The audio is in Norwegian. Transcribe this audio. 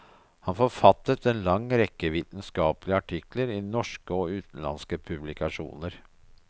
Han forfattet en lang rekke vitenskapelige artikler i norske og utenlandske publikasjoner.